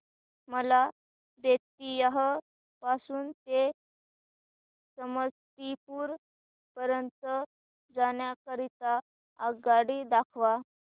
मला बेत्तीयाह पासून ते समस्तीपुर पर्यंत जाण्या करीता आगगाडी दाखवा